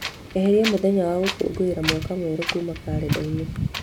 eheria mũthenya wa gũkũngũĩra Mwaka Mwerũ kuuma kalendarĩ-inĩ